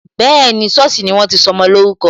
Bẹẹni, sọ́ọ̀sì ni wọ́n ti sọmọ lórúkọ